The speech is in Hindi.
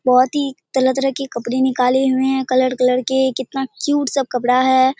बहुत ही तरह-तरह के कपड़े निकाले हुए हैं कलर - कलर के कितना क्यूट सा कपड़ा है ।